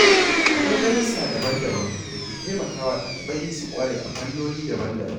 Akwai darussa daban-daban da ke taimakawa ɗalibai su ƙware a fannoni daban-daban.